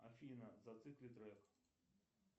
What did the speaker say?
афина зацикли трек